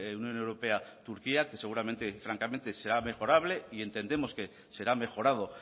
unión europea turquía que seguramente francamente sea mejorable y entendemos que será mejorado